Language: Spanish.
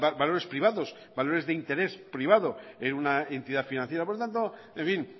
valores privados valores de interés privado en una entidad financiera por lo tanto en fin